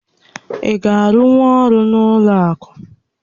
Ị ga-arụnwu ọrụ n'ụlọ akụ?